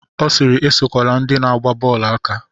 Ọ sịịrị, esokwala ndị na-agba bọọlụ aka.